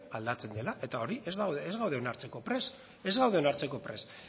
aldatzen dela eta hori ez gaude onartzeko prest ez gaude onartzeko prest